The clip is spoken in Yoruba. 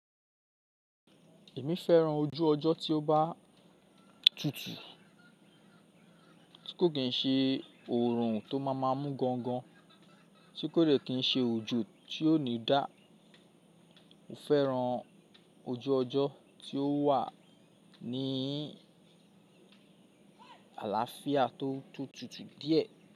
Èmi fẹ́ran ojú ọjọ́ tí ó bá tutù, tí kò kín ṣe òórùn tó máa máa mú gangan, tí kò dẹ̀ kín ṣe ojo tí ó ní dá. Mo fẹ́ran ojú ọjọ́ tí ó wà ní àlàáfíà tó tutù díẹ̀.